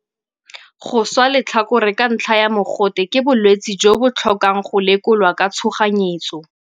Go swa letlhakore ka ntlha ya mogote ke bolwetse jo bo tlhokang go lekolwa ka tshoganyetso.